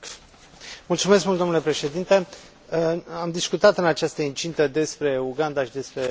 Am discutat în această incintă despre Uganda și despre homosexualitate și în urmă cu mai multe luni.